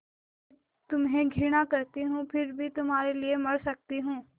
मैं तुम्हें घृणा करती हूँ फिर भी तुम्हारे लिए मर सकती हूँ